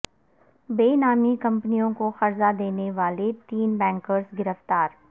بے نامی کمپنیوں کو قرضہ دینے والے تین بینکرز گرفتار